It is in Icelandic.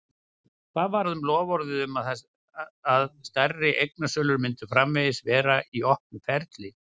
Hvað varð um loforðið um það að stærri eignasölur myndu framvegis vera í opnu ferli?